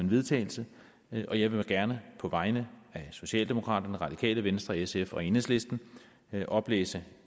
vedtagelse og jeg vil gerne på vegne af socialdemokraterne radikale venstre sf og enhedslisten oplæse